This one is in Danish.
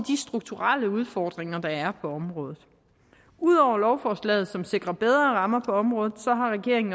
strukturelle udfordringer der er på området ud over lovforslaget som sikrer bedre rammer for området